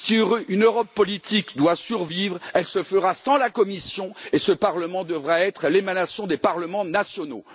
Si une Europe politique doit survivre, elle se fera sans la Commission, et ce Parlement devra être l'émanation des parlements nationaux.